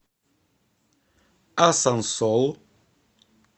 асансол